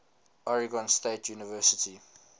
oregon state university